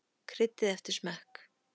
Kryddið eftir smekk.